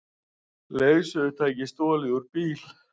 Leiðsögutæki stolið úr bíl